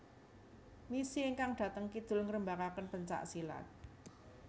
Misi ingkang dhateng kidul ngrembakaken pencak silat